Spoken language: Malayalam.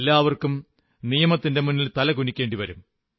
എല്ലാവർക്കും നിയമത്തിന്റെ മുന്നിൽ തലകുനിക്കേണ്ടി വരും